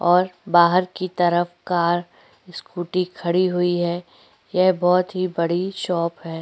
और बाहर की तरफ कार स्कूटी खड़ी हुई है यह बहुत ही बड़ी शॉप हैं।